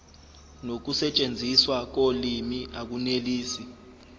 nokusetshenziswa kolimi akunelisi